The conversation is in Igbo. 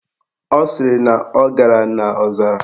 Ọ sịrị na ọ gara n' ọzara